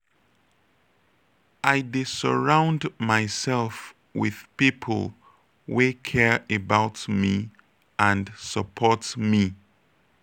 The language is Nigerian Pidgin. i dey surround myself with people wey care about me and support me.